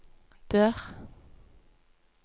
dør